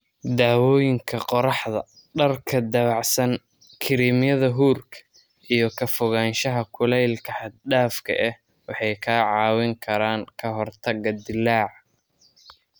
Daawooyinka qorraxda, dharka dabacsan, kiriimyada huurka, iyo ka fogaanshaha kulaylka xad dhaafka ah waxay kaa caawin karaan ka hortagga dillaaca.